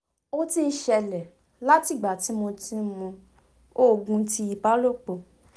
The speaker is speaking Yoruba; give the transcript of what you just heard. o ti n ṣẹlẹ la ti igba ti mo ti mu oogun ti ibalopo